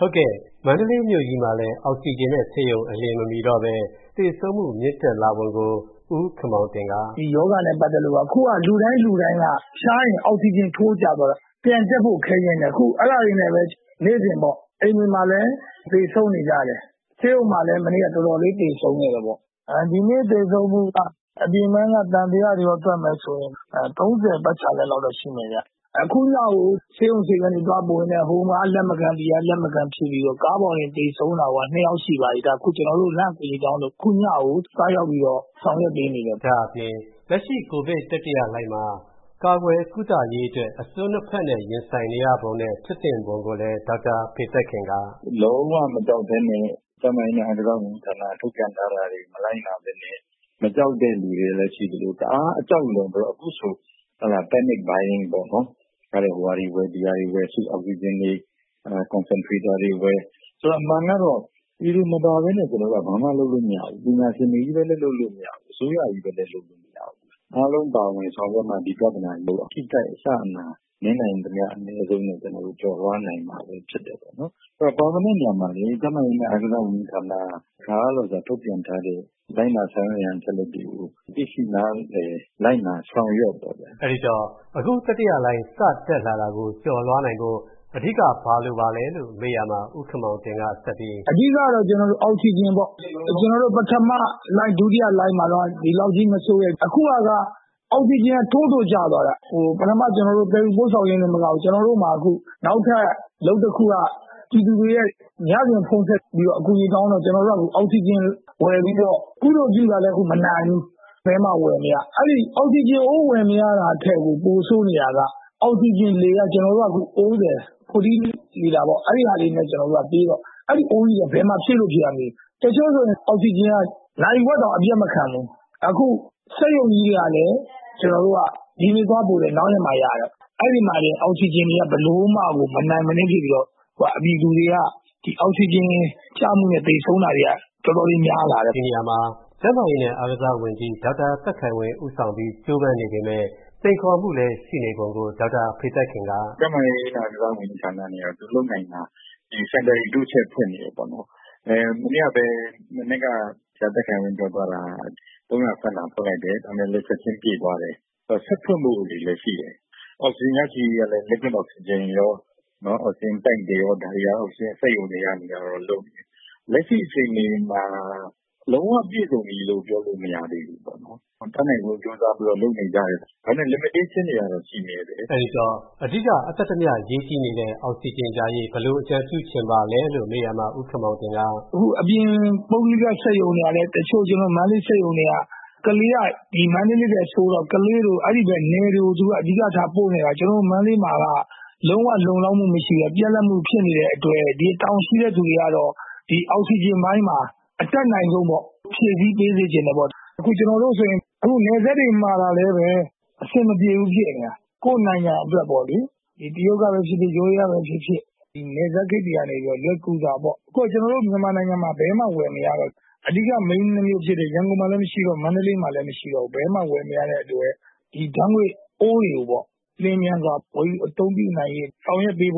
ဟုတ်ကဲ့။ မန္တလေးမြို့ကြီးမှာလည်း အောက်စီဂျင်နဲ့ ဆေးရုံအလျင်မမီတော့ပဲ သေဆုံးမှုမြင့်တက်လာပုံကို ဦးခင်မောင်တင် က... ဦးခင်မောင်တင် ။. ။ အခုဟာက လူတိုင်း လူတိုင်းက ဖျားရင် အောက်စီဂျင် ထိုးကျသွားတာ ပြန်တက်ဖို့ ခက်တယ်။ အခု အဲဒါတွေနဲ့ပဲ အိမ်တွေမှာလည်းသေဆုံးနေကြတယ်။ ဆေးရုံမှာလည်း မနေ့ကတော်တော်လေး သေဆုံးခဲ့တယ်ပေါ့။ ဒီနေ့သေဆုံးမှုက အပြင်ပန်းက သံသယတွေကောတွက်မယ်ဆိုရင် ၃ဝ ပတ်ချာလည်လောက်တော့ရှိမယ်ဗျ။ အခုညကို ဆေးရုံဆေးခန်းတွေက လက်မခံဖြစ်ပြီးတော့ ကားပေါ်တင် သေဆုံးတာကိုက ၂ ယောက်ရှိသွားပြီ။ အခုညကို ကျနော်တို့ သွားရောက်ဆောင်ရွက်ပေးနေရတယ်။ ကိုဝင်းမင်း ။. ။ လက်ရှိ ကိုဗစ် တတိယလှိုင်းမှာ ကာကွယ်ကု့သရေးအတွက် အစွန်း ၂ဖက်နဲ့ ရင်ဆိုင်နေရပုံနဲ့ ဖြစ်စဉ်ကိုလည်း ဒေါက်တာဖေသက်ခင် က... ဒေါက်တာဖေသက်ခင် ။. ။ လုံးဝမကြောက်ပဲနဲ့ ကျန်းမာရေး နဲ့ အားကစားဝန်ကြီးဌာန က ထုတ်ပြန်ထားတာတွေ မလိုက်နာပဲနဲ့ မကြောက်တဲ့လူတွေက ရှိသလို တအားအကြောက်လွန်ပြီးတော့ panic buying ဟိုဟာတွေဝယ် ဒီဟာတွေဝယ် ၊ အမှန်ကတော့ ပြည်သူမပါပဲနဲ့ ကျနော်တို့က ဘာမှလုပ်မရဘူး။ ပညာရှင်တွေချည်းလုပ်လို့မရဘူး။ အစိုးရချည်းလည်း လုပ်လို့မရဘူး။ အားလုံးပါဝင်ပြီးတော့မှ အထိအခိုက် အကျအနာ အနည်းဆုံးနဲ့ ကျော်လွှားနိုင်မှာဖြစ်တယ်ဗျ။ ပါဝင်တဲ့နေရာမှာလည်း တတ်နိုင်သမျှ အားကစားဝန်ကြီးဌာနက ထုတ်ပြန်ထားတဲ့ အခါအားလျှော်စွာ အချက်အလက်တွေကို လိုက်နာဆောင်ရွက်ပေါ့ဗျာ။ ကိုဝင်းမင်း ။.။ အဲဒီတော့ အခါတတိယလှိုင်း စတက်လာတာကို ကျော်လွှားနိုင်ဖို့ အဓိက ဘာလိုပါလဲလို့မေးရာမှာ ဦးခင်မောင်တင် က..... ဦးခင်မောင်တင် ။. ။ အဓိက ကတော့ အောက်စီဂျင်ပေါ့။ ကျနော်တို့ ပထမလှိုင်း၊ ဒုတိယလှိုင်းမှာတုံးက ဒီလောက်ကြီး မဆိုးခဲ့ဘူး။ အခုဟာက အောက်စီဂျင်က ထိုးထိုးကျသွားတာ။ ပထမ သယ်ယူပို့ဆောင်ရေးတင်မကဘူး။ ကျနော်တို့မှာ နောက်ထပ်အလုပ်တခုက ပြည်သူတွေရဲ့ ညစဉ်ဖုန်းဆက်အကူအညီတောင်းတော့ ကျနော်တို့က အောက်စီဂျင်ဝယ်ပြီးတော့ ကုသိုလ်ပြုတာလည်း မနိုင်ဘူး။ ဘယ်မှဝယ်မရ။ အဲဒီအောက်စီဂျင်အိုးဝယ်မရတာကကို ပိုဆိုးနေတာက အောက်စီဂျင်လေက ကျနော်တို့က ၄ဝလီတာပေါ့။အဲဒီဟာနဲ့ပေးတော့ အဲဒီအိုးကြီးတွေက ဘယ်မှာဖြည့်လို့ဖြည့်ရမှန်းလည်းမသိဘူး။ တချို့ဆို အောက်စီဂျင်က နာရီဝက်တောင် အပြတ်မခံဘူး။ အခုစက်ရုံကြီးတွေကလည်း ဒီနေ့သွားပို့လည်း နောက်နေ့မှရတယ်။ အဲဒီမှာတင် အောက်စီဂျင်တွေက မနိုင်မနင်းဖြစ်ပြီးတော့ ပြည်သူတွေက အောက်စီဂျင်ကျမှုနဲ့ သေဆုံးတာတွေက တော်တော်များလာတယ်။ ဦးဝင်းမင်း ။. ။ ဒီနေရာမှာ ကျန်းမာရေး နဲ့ အားကစားဝန်ကြီး ဒေါက်တာ သက်ခိုင်ဝင်း ကြိုးပန်းနေပေမယ့် စိန်ခေါ်မှုလည်းရှိနေပုံကို ဒေါက်တာ ဖေသက်ခင် က... ဒေါက်တာဖေသက်ခင် ။.။ ကျန်းမာရေးနဲ့ အားကစားဝန်ကြီးဌာန က သူလုပ်နိုင်တာ တိုးချဲ့ဖွင့်နေတယ်။ မနေ့က မနက်ပဲ ဆရာသက်ခိုင်ဝင်း ပြောတာက ၃ဝဝခန့်ဖွင့်လိုက်တယ်။ ဒါပေမယ် ချက်ချင်းပြည့်သွားတယ်။ ထပ်ဖွင့်ဖို့တွေလည်းရှိတယ်။ အောက်စီဂျင်ရရှိရေးကလည်း စက်ရုံတွေကလုပ်နေပေမယ့် လက်ရှိအချိန်မှာ လုံးဝပြည်စုံပြီလို့ ပြောလို့မရသေးဘူးပေါ့။ တတ်နိုင်သမျှလုပ်နေကြတယ်။ ဒါပေမယ်limitation တွေကတော့ရှိတယ်။ ဦးဝင်းမင်း ။. ။ အဓိက အသက်သမျှ အောက်စီဂျင်ရရေး ဘယ်လိုအကြံပြုချင်ပါလဲလို့မေးရာမှာ..... ဦးခင်မောင်တင် ။. ။ တချို့ ပုဂ္ဂိုလိကစက်ရုံတွေက တချို့ မန္တလေးစက်ရုံတွေက ကလေးမြို့က မန္တလေးထက်ဆိုးတော့ အဲဒီဖက်နယ်တွေကို အဓိကထားပို့နေရတာ။ ကျနော်တို့ မန္တလေးမှာက လုံးဝလုံလောက်မှုမရှိဘူး။ ပြတ်လပ်မှုဖြစ်နေတဲ့အတွက် ဒီတာဝန်ရှိတဲ့သူတွေကတော့ ဒီအောက်စီဂျင်ပိုင်းမှာ အတတ်နိုင်ဆုံးဖြည့်ဆည်းပေးစေချင်တယ်ပေါ့။ အခုနယ်စပ်တွေမှာကလည်း အဆင်မပြေဘူးဖြစ်နေတာ။ ကိုယ်နိုင်ငံအတွက်ပေါ့လေ။ တရုတ်ကဖြစ်ဖြစ် ထိုင်းကဖြစ်ဖြစ် နယ်စပ်ဂိတ်တွေကနေ လွယ်ကူစွာပေါ့။ အခု ကျနော်တို့ မြန်မာနိုင်ငံမှာ ဘယ်မှဝယ်မရတော့ ရန်ကုန်မှာလည်း မရှိတော့ မန္တလေးမှာလည်းမရှိတော့ ဘယ်မှဝယ်မရတဲ့အတွက် ဒီဓါတ်ငွေအိုးတွေကို ဝယ်ရဖို့အတွက် ပြည်သူတွေကိုယ်စား ပြန်